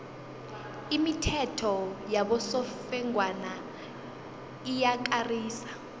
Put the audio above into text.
imithetho yabosofengwana iyakarisa